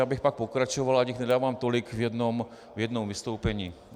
Já bych pak pokračoval, ať jich nedávám tolik v jednom vystoupení.